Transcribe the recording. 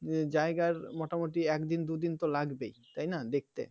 জায়গার মোটামুটি একদিন দুই দিন তো লাগবেই তাই না দেখতে